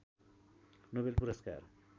Nobel पुरस्कार